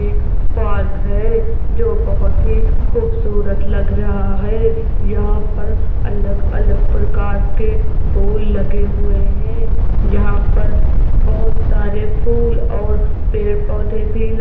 एक पार्क है जो बहुत ही खूबसूरत लग रहा है यहां पर अलग-अलग प्रकार के फूल लगे हुए हैं यहां पर बहुत सारे फूल और पेड़ पौधे भी ल --